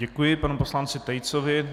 Děkuji panu poslanci Tejcovi.